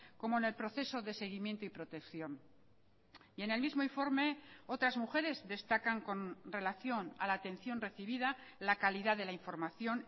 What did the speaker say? como en el proceso de seguimiento y protección y en el mismo informe otras mujeres destacan con relación a la atención recibida la calidad de la información